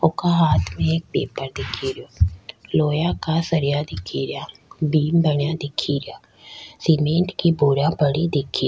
वोका हाथ में एक पेपर दिखे रिया लोहा का सरिआ दिखे रिया बीम बना दिखे रिया सीमेंट की बोरिया पड़ी दिखे --